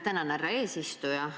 Tänan, härra eesistuja!